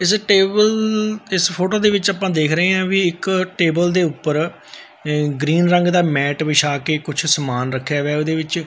ਇੱਸ ਟੇਬਲ ਇੱਸ ਫ਼ੋਟੋ ਦੇ ਵਿੱਚ ਅਪਾਂ ਦੇਖ ਰਹੇ ਹਾਂ ਬਈ ਇੱਕ ਟੇਬਲ ਦੇ ਊਪਰ ਗਰੀਨ ਰੰਗ ਦਾ ਮੈਟ ਵਿੱਛਾਕੇ ਕੁੱਛ ਸਮਾਨ ਰੱਖਿਆ ਵਿਆ ਹੈ ਓਹਦੇ ਵਿੱਚ।